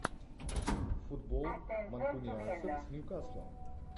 футбол манкунианцев с ньюкаслом